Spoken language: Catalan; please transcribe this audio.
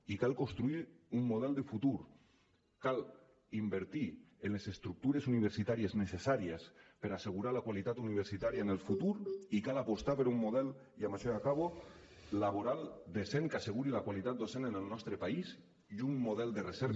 i cal construir un model de futur cal invertir en les estructures universitàries necessàries per a assegurar la qualitat universitària en el futur i cal apostar per un model i amb això ja acabo laboral decent que asseguri la qualitat docent en el nostre país i un model de recerca